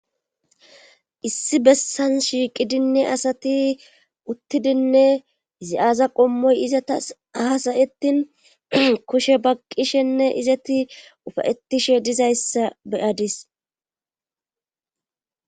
Issi bessan shiiqidinne asati uttidinne zi7aza qommoy izata hasayetin kushe baqqishenne izeti ufayetishe dizayssa beyadis